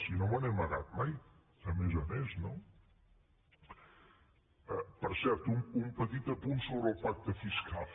si no me n’he amagat mai a més a més no per cert un petit apunt sobre el pacte fiscal